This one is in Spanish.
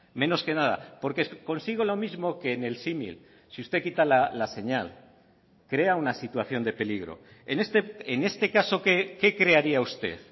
menos que nada porque consigo lo mismo que en el símil si usted quita la señal crea una situación de peligro en este caso qué crearía usted